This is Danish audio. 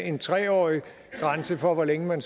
en tre årig grænse for hvor længe man